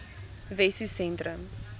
wessosentrum